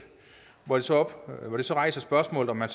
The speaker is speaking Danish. og hvor det så rejser spørgsmålet om man